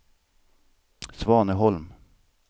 Svaneholm